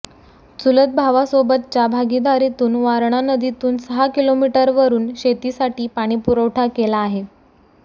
चुलत भावासोबतच्या भागीदारीतून वारणा नदीतून सहा किलोमीटरवरून शेतीसाठी पाणीपुरवठा केला आहे